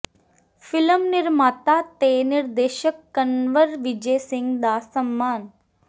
film ਨਿਰਮਾਤਾ ਤੇ ਨਿਰਦੇਸ਼ਕ ਕੰਵਰ ਵਿਜੈ ਸਿੰਘ ਦਾ ਸਨਮਾਨ